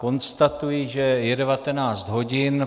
Konstatuji, že je 19 hodin.